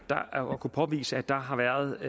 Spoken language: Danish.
kunne påvise at der har været